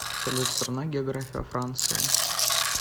салют страна география франции